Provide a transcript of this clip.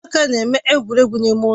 Ụmụaka na-eme egwuregwu ime ụlọ